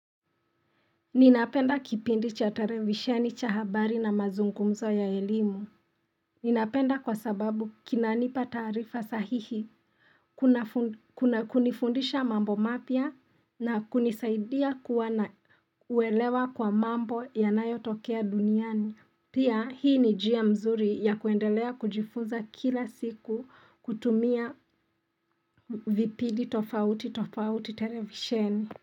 Ninapenda kipindi cha televisheni cha habari na mazungumzo ya elimu. Ninapenda kwa sababu kinanipa tarifa sahihi, kuna kunifundisha mambo mapya na kunisaidia kuwa na uelewa kwa mambo yanayotokea duniani. Pia hii ni njia mzuri ya kuendelea kujifunza kila siku kutumia vipindi tofauti tofauti televisheni.